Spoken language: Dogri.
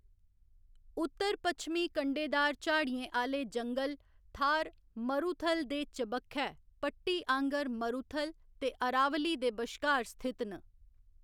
उत्तर पच्छमी कंडेदार झाड़ियें आह्‌‌‌ले जंगल थार मरूथल दे चबक्खै पट्टी आहंगर मरूथल ते अरावली दे बश्कार स्थित न।